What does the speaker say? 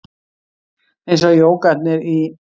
Eins og jógarnir í